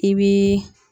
I bi